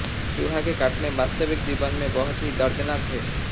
चूहा के काटने वास्तविक जीवन में बहुत ही दर्दनाक है